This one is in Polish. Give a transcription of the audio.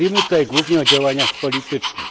Mówimy tutaj głównie o działaniach politycznych.